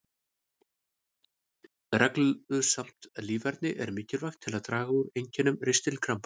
Reglusamt líferni er mikilvægt til að draga úr einkennum ristilkrampa.